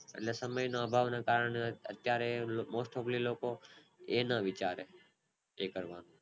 lesson મહિનો અભાવ ના કારણે ક્યારે most topali લોકો એ ન વિચારે એ કરવાનો